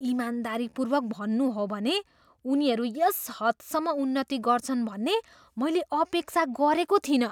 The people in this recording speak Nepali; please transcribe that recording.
इमानदारीपूर्वक भन्नु हो भने उनीहरू यस हदसम्म उन्नति गर्छन् भन्ने मैले अपेक्षा गरेको थिइनँ।